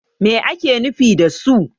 me ake nufi da su?